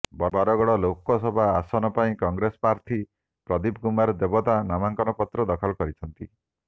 ବରଗଡ଼ ଲୋକସଭା ଆସନ ପାଇଁ କଂଗ୍ରେସ ପ୍ରାର୍ଥୀ ପ୍ରଦୀପ କୁମାର ଦେବତା ନାମାଙ୍କନ ପତ୍ର ଦାଖଲ କରିଛନ୍ତି